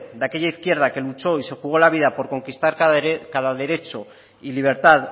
de aquella izquierda que lucho y se jugó la vida por conquistar cada derecho y libertad